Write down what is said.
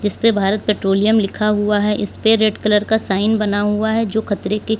इसपे भारत पेट्रोलियम लिखा हुआ है इसपे रेड कलर का साइन बना हुआ है जो खतरे के--